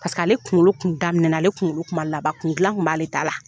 Paseke ale kunkolo kun daminɛ na ale kunkolo kun laban kun gilan kun b'ale ta la.